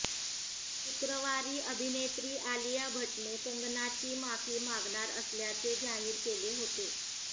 शुक्रवारी अभिनेत्री आलिया भट्टने कंगनाची माफी मागणार असल्याचे जाहीर केले होते